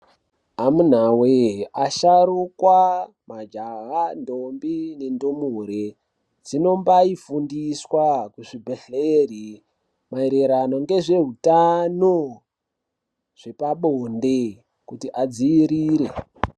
Amunawee asharuka majaha ndombi nendumure zvinombayi fundiswa kuzvibhedhlera mairirano nezveutano hwepabonde kuti vadzivirire.